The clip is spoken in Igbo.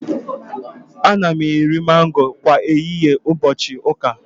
Ana m eri mango kwa ehihie ụbọchị ụka